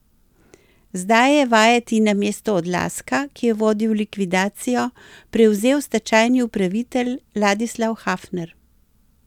Zdaj je vajeti namesto Odlazka, ki je vodil likvidacijo, prevzel stečajni upravitelj Ladislav Hafner.